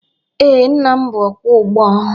Ee, nna m bụ ọkwọ ụgbọ.